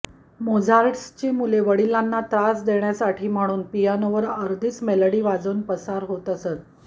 मोझार्टची मुले वडिलांना त्रास देण्यासाठी म्हणून पियानोवर अर्धीच मेलडी वाजवून पसार होत असत